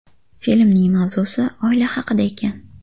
Filmning mavzusi oila haqida ekan.